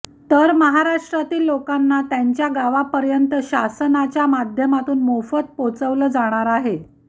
तर महाराष्ट्रातील लोकांना त्यांच्या गावापर्यंत शासनाच्या माध्यमातून मोफत पोहोचवलं जाणार आहे